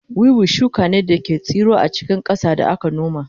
Wiwi shuka ne da ke tsiro a cikin ƙasa da aka noma